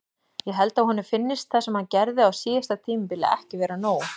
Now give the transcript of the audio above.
Ég held að honum finnist það sem hann gerði á síðasta tímabili ekki vera nóg.